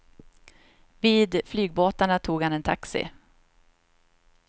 Vid flygbåtarna tog han en taxi.